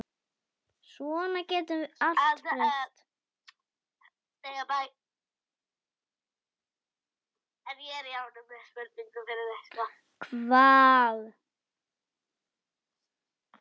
Svona getur allt breyst.